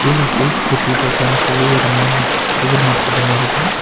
கீழ gulf city பசார்ன்னு சொல்லி ஒரு மார்ன சூப்பர் மார்க்கெட் ஒன்னு இருக்கு.